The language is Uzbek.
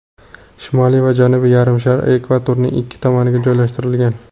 Shimoliy va Janubiy yarimsharlar ekvatorning ikki tomoniga joylashtirilgan.